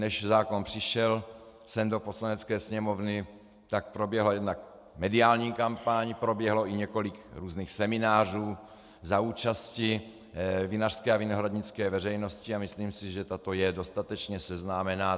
Než zákon přišel sem do Poslanecké sněmovny, tak proběhla jednak mediální kampaň, proběhlo i několik různých seminářů za účasti vinařské a vinohradnické veřejnosti a myslím si, že tato je dostatečně seznámena.